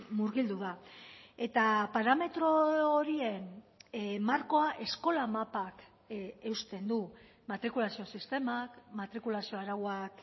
murgildu da eta parametro horien markoa eskola mapak eusten du matrikulazio sistemak matrikulazio arauak